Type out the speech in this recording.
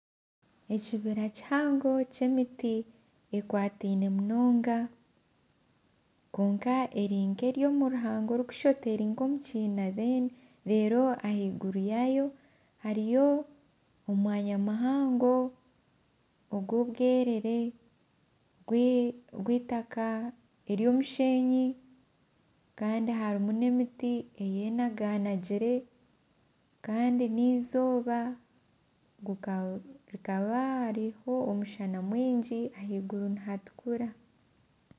Ekibira kihango ky'emiti ekwataine munonga kwonka eri omu ruhanga orikushusha oti eri omu kiine reero ahaiguru yaayo hariyo omwanya muhango ogw'obwerere ogw'eitaka ry'omushenyi kandi harimu n'emiti eyenaganagire kandi n'eizooba hakaba hariho omushana mwingi ahaiguru nihatukura